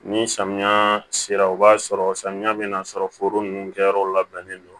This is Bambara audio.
Ni samiya sera o b'a sɔrɔ samiya bɛna sɔrɔ foro ninnu kɛyɔrɔ labɛnnen don